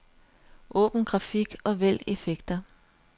Åbn grafik og vælg effekter.